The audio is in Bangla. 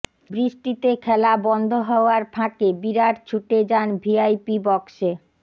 বৃষ্টিতে খেলা বন্ধ হওয়ার ফাঁকে বিরাট ছুটে যান ভিআইপি বক্সে